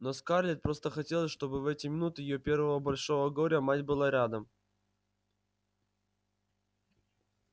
но скарлетт просто хотелось чтобы в эти минуты её первого большого горя мать была рядом